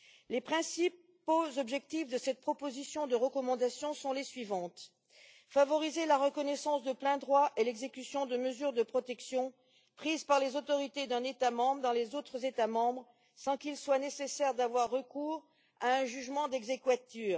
Les principaux objectifs de cette proposition de recommandation sont les suivants favoriser la reconnaissance de plein droit et l'exécution de mesures de protection prises par les autorités d'un État membre dans les autres États membres sans qu'il soit nécessaire d'avoir recours à un jugement d'exequatur.